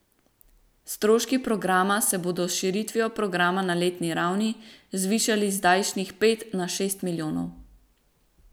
Stroški programa se bodo s širitvijo programa na letni ravni zvišali z zdajšnjih pet na šest milijonov.